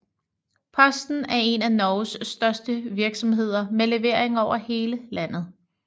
Posten er en af Norges største virksomheder med leveringer over hele landet